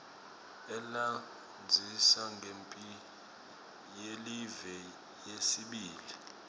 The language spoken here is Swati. alandzisa ngemphi yelive yesibili